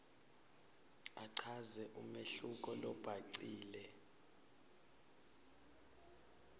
achaze umehluko lobhacile